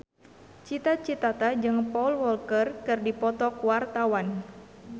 Cita Citata jeung Paul Walker keur dipoto ku wartawan